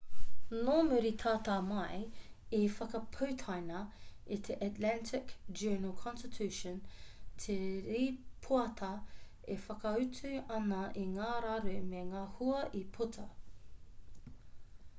nō muri tata mai i whakaputaina e te atlanta journal-consitution te rīpoata e whakaatu ana i ngā raru me ngā hua i puta